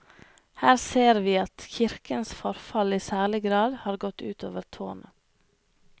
Her ser vi at kirkens forfall i særlig grad har gått ut over tårnet.